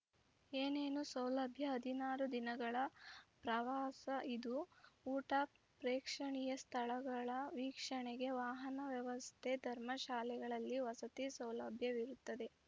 ಏನೇನು ಸೌಲಭ್ಯ ಹದಿನಾರು ದಿನಗಳ ಪ್ರವಾಸ ಇದು ಊಟ ಪ್ರೇಕ್ಷಣೀಯ ಸ್ಥಳಗಳ ವೀಕ್ಷಣೆಗೆ ವಾಹನ ವ್ಯವಸ್ಥೆ ಧರ್ಮಶಾಲೆಗಳಲ್ಲಿ ವಸತಿ ಸೌಲಭ್ಯವಿರುತ್ತದೆ